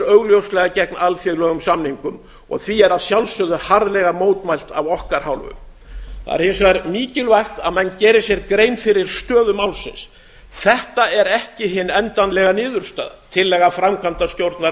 augljóslega gegn alþjóðlegum samningum og því er að sjálfsögðu harðlega mótmælt af okkar hálfu það er hins vegar mikilvægt að menn geri sér grein fyrir stöðu málsins þetta er ekki hin endanlega niðurstaða tillaga